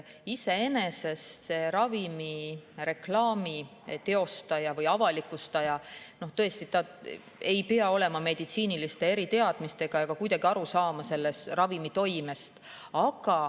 Iseenesest see ravimireklaami teostaja või avalikustaja ei pea olema meditsiiniliste eriteadmistega ega saama kuidagi aru ravimi toimest.